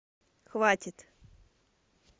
хватит